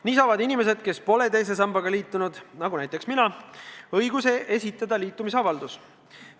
Nii saavad inimesed, kes pole teise sambaga liitunud, nagu näiteks mina, õiguse esitada liitumisavaldus.